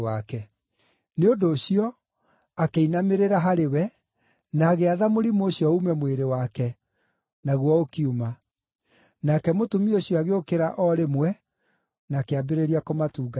Nĩ ũndũ ũcio, akĩinamĩrĩra harĩ we, na agĩatha mũrimũ ũcio uume mwĩrĩ wake, naguo ũkiuma. Nake mũtumia ũcio agĩũkĩra o rĩmwe na akĩambĩrĩria kũmatungatĩra.